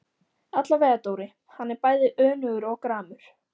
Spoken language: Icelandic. Allavega Dóri, hann er bæði önugur og gramur.